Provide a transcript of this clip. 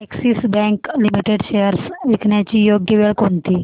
Axis Bank Limited shares विकण्याची योग्य वेळ कोणती